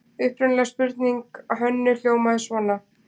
Upprunaleg spurning Hönnu hljómaði svona: